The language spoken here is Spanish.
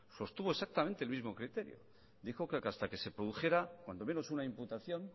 sostuvo exactamente el mismo criterio dijo que hasta que se produjera cuando menos una imputación